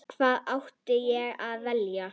Hvað átti ég að vilja?